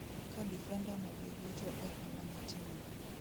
Ka difenda no be gocho e hola ne team no